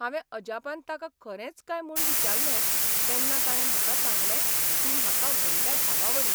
हावें अजापान ताका खरेंच काय म्हूण विचारलें तेन्ना ताणे म्हाका सांगलें तूं म्हाका व्हडल्या भावावरी.